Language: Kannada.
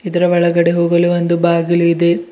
ಇದರ ಒಳಗಡೆ ಹೋಗಲು ಒಂದು ಬಾಗಿಲು ಇದೆ.